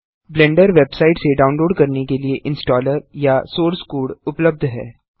blender website से download करने के लिए इंस्टॉलर या सोर्स कोड उपलब्ध है